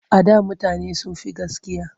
A da mutane sun fi gaskiya.